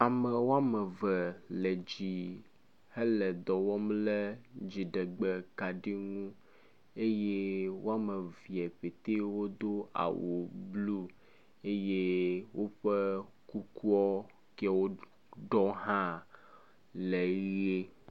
Ame woame eve le dzi hele dɔ wɔm le dziɖegbe kaɖi ŋu eye woame evee ƒetee wodo awu blu eye woƒe kukuɔ kee woɖɔ hã le ʋe.